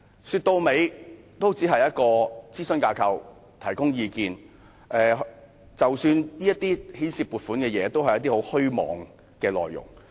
說到底也只是一個諮詢架構，提供意見，即使牽涉撥款的事項，也只是一些很虛妄的內容。